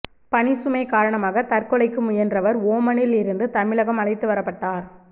பணிசுமை காரணமாக தற்கொலைக்கு முயன்றவர் ஓமனில் இருந்து தமிழகம் அழைத்து வரப்பட்டார்